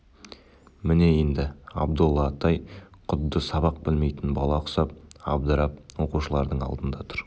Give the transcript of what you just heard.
міне енді абдолла атай құдды сабақ білмейтін бала құсап абдырап оқушылардың алдында тұр